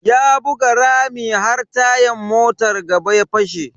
Ya buga rami har tayan motan gaba ya fashe.